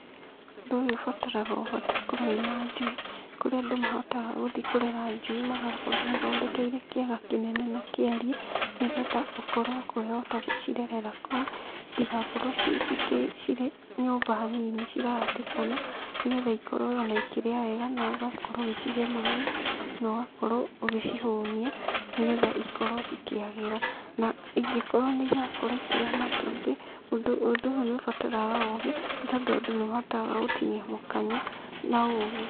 Ũndũ ũyũ ũbataraga ũhote gũkorwo wĩna njui, kũrĩa andũ mahotaga gũthiĩ kũrera njui magakorwo mathondekeire kĩaga kĩnene na kĩarie, nĩgetha ũkorwo ũkĩhota gũcirerera kũu, citigakorwo cirĩ nyũmba nini cirahatĩkana, nĩgetha ona ikorwo ikĩrĩa wega na ũgakorwo ũgĩcihe maĩ, na ũgakorwo ũgĩcihũnia, nĩgetha ikorwo cikĩagĩra, na ingĩkorwo nĩ irakorwo ikĩrĩa matumbĩ, ũndũ ũyũ nĩ ũbataraga ũgĩ, nĩ tondũ andũ nĩ mahotaga gũtinia mũkanye na ũgĩ.